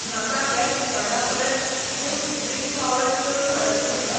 म्हाका हेर दुकानां परस बूस्ट ड्रिंक पावडर चड म्हारग दिसता